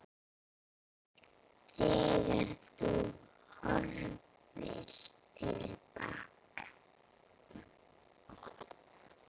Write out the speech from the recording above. Þegar þú horfir til baka.